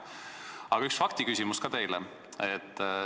Aga üks faktiküsimus ka teile.